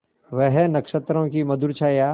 वह नक्षत्रों की मधुर छाया